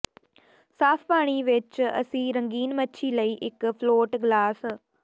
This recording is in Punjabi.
ਸਾਫ਼ ਪਾਣੀ ਵਿੱਚ ਆਪਣੀ ਰੰਗੀਨ ਮੱਛੀ ਲਈ ਇੱਕ ਫਲੋਟ ਗਲਾਸ